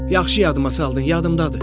Yaxşı yadıma saldın, yadımdadır.